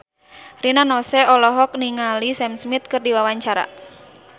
Rina Nose olohok ningali Sam Smith keur diwawancara